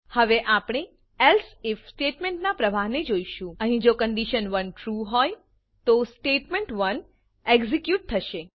હવે આપણે else if સ્ટેટમેંટનાં પ્રવાહને જોઈશું અહીં જો કન્ડિશન1 ટ્રૂ હોય તો સ્ટેટમેન્ટ1 એક્ઝેક્યુટ થશે